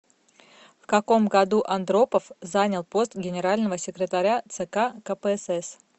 в каком году андропов занял пост генерального секретаря цк кпсс